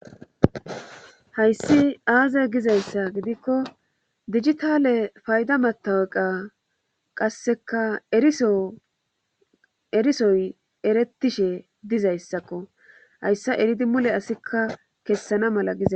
hayssi aaze gizayssa gidikko digitale payda mataweqa qasseka eriso erisoy erettishe dizayssakko hayssa eridi mule asikka kessana mala gizay